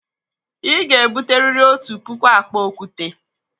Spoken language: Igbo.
Ị ga-ebute riri otu puku akpa okwute!